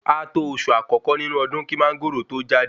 A tó oṣù àkọ́kọ́ nínú ọdún kí Mángòrò to jáde